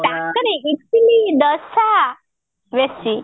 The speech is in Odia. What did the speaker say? ଇଟିଲି ଦୋସା ବେଶୀ